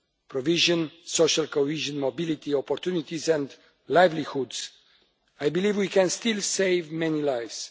provision, social cohesion, mobility, opportunities and livelihoods. I believe we can still save many lives.